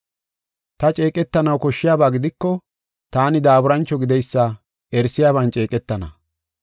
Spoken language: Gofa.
Ta ceeqetanaw koshshiyaba gidiko taani daaburancho gideysa erisiyaban ceeqetana.